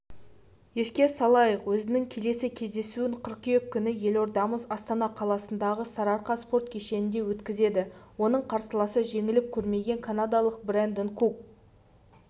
еске салайық өзінің келесі кездесуін қыркүйек күні елордамыз астана қаласындағы сарыарқа спорт кешенінде өткізеді оның қарсыласы жеңіліп көрмеген канадалық брэндон кук